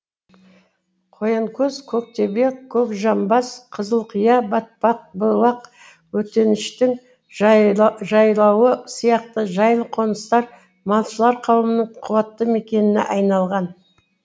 қоянкөз көктөбе көкжамбас қызылқия батпақтыбұлақ өтеншіттің жайлауы сияқты жайлы қоныстар малшылар қауымының қуаты мекеніне айналған